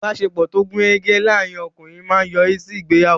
Ìbáṣepọ̀ tó gùn rẹ́gẹ́ láàrín ọkùnrin máa yọrí sí ìgbéyàwó.